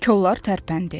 Kollar tərpəndi.